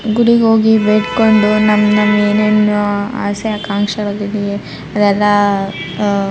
ಗುಡಿಗೆ ಹೋಗಿ ಬೇಡ್ಕೊಂಡು ನಮ್ ನಮ್ಮ ಏನೇನ್ ಆಸೆ ಆಕಾಂಕ್ಷ ಗಳಿವೆ ಅದೆಲ್ಲ ಅಹ್ --